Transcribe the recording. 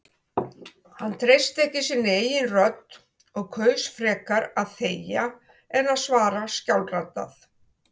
Hann treysti ekki sinni eigin rödd og kaus frekar að þegja en að svara skjálfraddað.